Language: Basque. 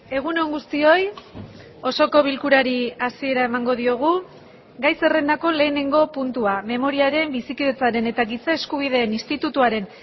egun on guztioi osoko bilkurari hasiera emango diogu gai zerrendako lehenengo puntua memoriaren bizikidetzaren eta giza eskubideen institutuaren